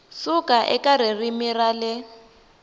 suka eka ririmi ra le